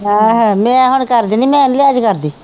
ਹਾਂ ਮੈਂ ਹੁਣ ਕਰ ਦਿੰਦੀ, ਮੈਂ ਨਹੀਂ ਲਿਹਾਜ਼ ਕਰਦੀ,